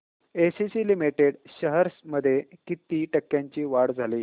ACC limited shares मध्ये किती टक्क्यांची वाढ झाली